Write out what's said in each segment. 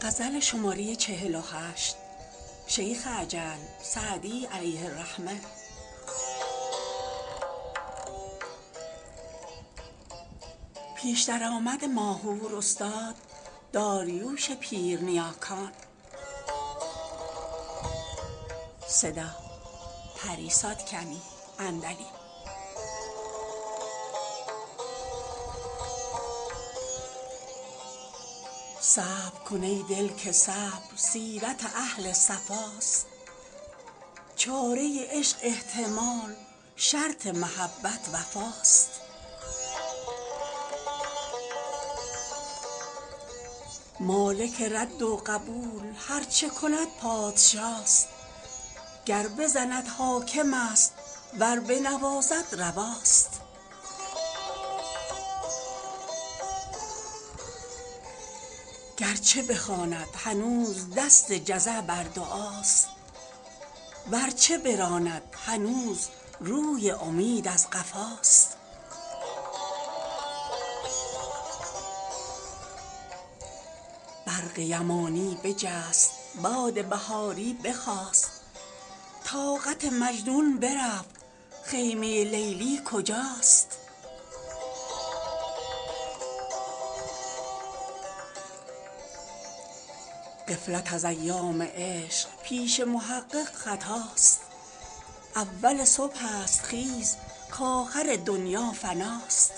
صبر کن ای دل که صبر سیرت اهل صفاست چاره عشق احتمال شرط محبت وفاست مالک رد و قبول هر چه کند پادشاست گر بزند حاکم است ور بنوازد رواست گر چه بخواند هنوز دست جزع بر دعاست ور چه براند هنوز روی امید از قفاست برق یمانی بجست باد بهاری بخاست طاقت مجنون برفت خیمه لیلی کجاست غفلت از ایام عشق پیش محقق خطاست اول صبح است خیز کآخر دنیا فناست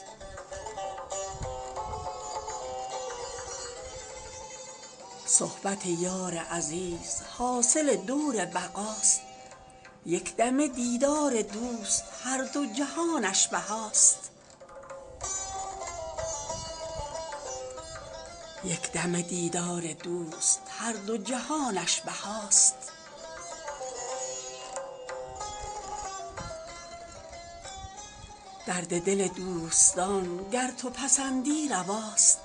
صحبت یار عزیز حاصل دور بقاست یک دمه دیدار دوست هر دو جهانش بهاست درد دل دوستان گر تو پسندی رواست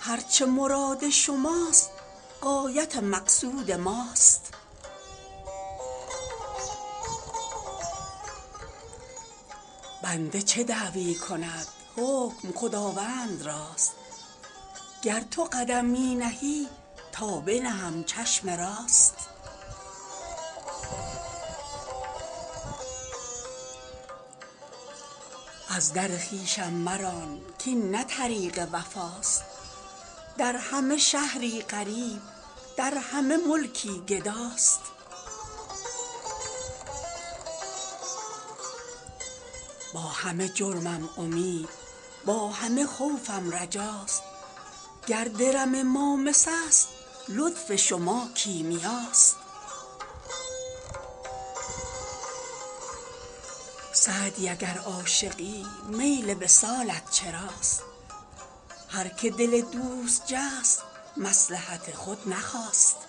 هر چه مراد شماست غایت مقصود ماست بنده چه دعوی کند حکم خداوند راست گر تو قدم می نهی تا بنهم چشم راست از در خویشم مران کاین نه طریق وفاست در همه شهری غریب در همه ملکی گداست با همه جرمم امید با همه خوفم رجاست گر درم ما مس است لطف شما کیمیاست سعدی اگر عاشقی میل وصالت چراست هر که دل دوست جست مصلحت خود نخواست